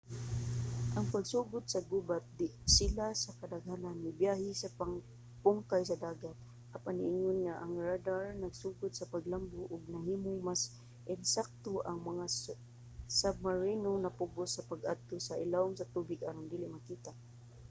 sa pagsugod sa gubat sila sa kadaghanan mibiyahe sa pungkay sa dagat apan ingon nga ang radar nagsugod sa paglambo ug nahimong mas ensakto ang mga submarino napugos sa pag-adto sa ilawom sa tubig aron dili makita